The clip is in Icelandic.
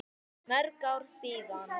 Mörg ár síðan.